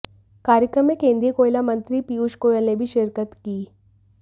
कार्यक्रम में केंद्रीय कोयला मंत्री पीयूष गोयल ने भी शिरकत की